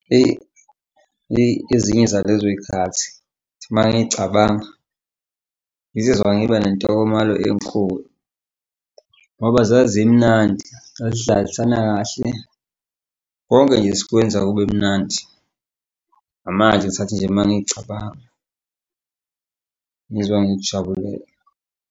Eyi, eyi, ezinye zalezo y'khathi mangiy'cabanga, ngizizwa ngiba nentokomalo enkulu ngoba zazimnandi sazidlalisana kahle, konke nje sikwenza kube mnandi ngamanje ngisathi nje mangiy'cabanga, ngizwa ngikujabule.